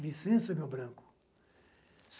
Licença, meu branco.